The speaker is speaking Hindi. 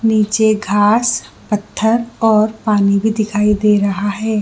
नीचे घास पत्थर और पानी भी दिखाई दे रहा है।